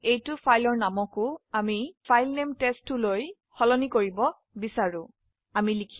আমি সেই ফাইলটিৰ নাম বদলে টেষ্ট2 চাই